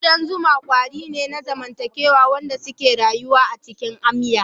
Kudan zuma kwari ne na zamantakewa waɗanda ke rayuwa a cikin amya.